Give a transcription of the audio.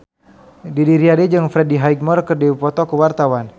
Didi Riyadi jeung Freddie Highmore keur dipoto ku wartawan